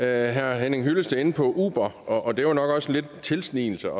herre henning hyllested inde på uber og det var nok også lidt en tilsnigelse